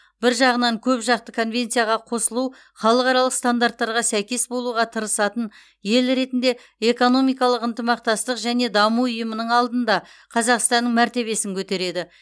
бір жағынан көпжақты конвенцияға қосылу халықаралық стандарттарға сәйкес болуға тырысатын ел ретінде экономикалық ынтымақтастық және даму ұйымының алдында қазақстанның мәртебесін көтереді